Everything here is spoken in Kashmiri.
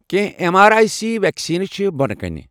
کیٚنٛہہ M R I C vaccine چھِ بۄنہٕ کَنہِ۔